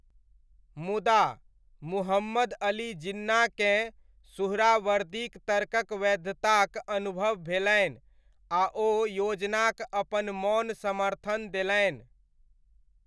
मुदा, मुहम्मद अली जिन्नाकेँ सुहरावर्दीक तर्कक वैधताक अनुभव भेलनि आ ओ योजनाक अपन मौन समर्थन देलनि।